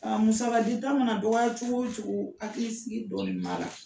musakadi ta mana dɔgɔya cogo o cogo, hakili sigi dɔɔni b'a la.